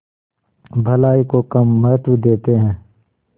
भलाई को कम महत्व देते हैं